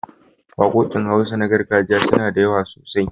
Waƙoƙin Hausa na gargajiya suna da yawa sosai.